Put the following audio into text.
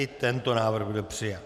I tento návrh byl přijat.